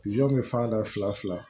bɛ fan da fila fila fila